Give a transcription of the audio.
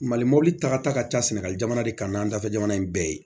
Mali mɔbili tagata ka ca sɛnɛgali jamana de kan n'an dafɛ jamana in bɛɛ ye